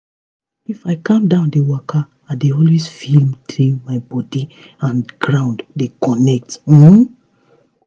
if i calm down dey waka i dey always feel day my body and ground don connect um